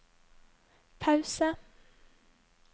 pause